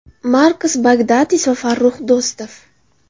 Markos Bagdatis va Farrux Do‘stov.